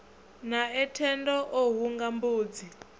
nae thendo o hunga mbudzi